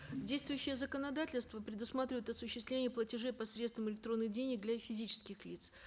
действующее законодательство предусматривает осуществление платежей по средствам электронных денег для физических лиц